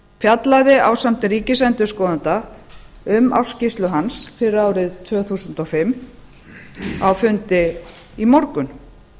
fjallaði ásamt ríkisendurskoðanda um ársskýrslu hans fyrir árið tvö þúsund og fimm á fundi í morgun